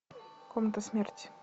комната смерти